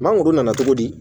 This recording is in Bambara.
Mangoro nana cogo di